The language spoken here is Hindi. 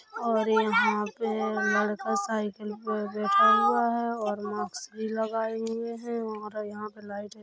और यहां पे लड़का साइकिल पे बैठा हुआ है और मास्क भी लगाए हुए है और यहां पे लाइट है--